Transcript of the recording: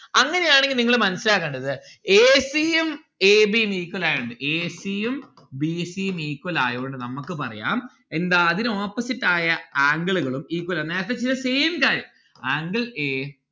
അങ്ങനെയാണെങ്കിൽ നിങ്ങള് മനസ്സിലാക്കേണ്ടത് a c ഉം a b ഉം equal ആയോണ്ട് a c ഉം b c ഉം equal ആയോണ്ട് നമ്മുക്ക് പറയാം എന്താ അതിനു opposite ആയ angle ഉകളും equal ആണ്. നേരത്തെ ചെയ്ത same കാര്യം anle a